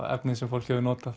efni sem fólk hefur notað